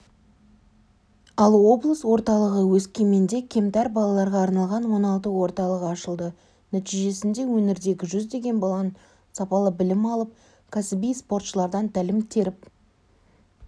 ал облыс орталығы өскеменде кемтар балаларға арналған оңалту орталығы ашылды нәтижесінде өңірдегі жүздеген баланың сапалы білім алып кәсіби спортшылардан тәлім теріп